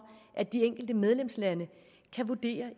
at de enkelte medlemslande